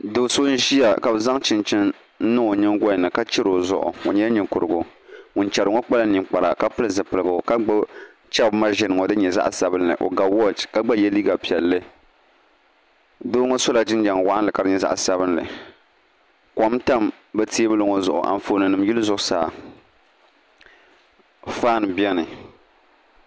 Do so n ʒiya ka bi zaŋ chinchini n niŋ o nyingoli ni ka chɛrI o zuɣu o nyɛla ninkurigu ŋun chɛro ŋo pilila zipiligu ka gbubi chɛbi mashin ŋo din nyɛ zaɣ sabinli o ga wooch ka gba yɛ liiga piɛlli doo ŋo sola jinjɛm waɣanli ka di nyɛ zaɣ sabinli kom tam bi teebuli ŋo zuɣu Anfooni nim yili zuɣusaa faan biɛni